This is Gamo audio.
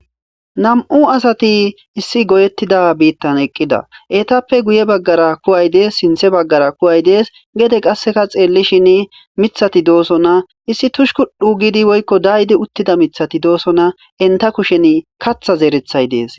Nam'u asati issi goyetida biittan eqqida eetappe guye baggara ku'ay dees sinththe baggara ku'ay dees gede qasseka xeelishin miththati doosona issi tushkudhu giidi woykko daayidi uttida miththati doosona eenta kushen kaththa zereththay dees.